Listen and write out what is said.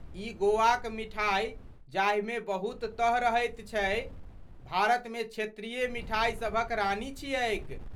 ई गोवाक मिठाई, जाहिमे बहुत तह रहैत छै, भारतमे क्षेत्रीय मिठाइसभक रानी छियैक।